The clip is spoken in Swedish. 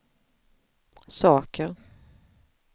saker